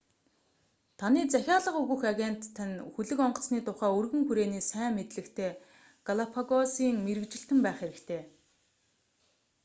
таны захиалга өгөх агент тань хөлөг онгоцны тухай өргөн хүрээний сайн мэдлэгтэй галапагосын мэргэжилтэн байх хэрэгтэй